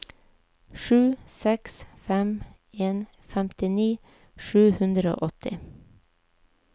sju seks fem en femtini sju hundre og åtti